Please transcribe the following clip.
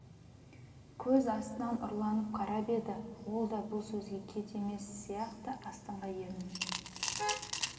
көз астынан ұрланып қарап еді ол да бұл сөзге кет емес сияқты астыңғы ернін